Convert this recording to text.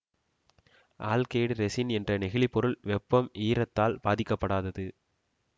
alkyd resin என்ற நெகிழி பொருள் வெப்பம் ஈரத்தால் பாதிக்கப்படாதது